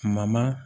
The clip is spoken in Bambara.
Kuma ma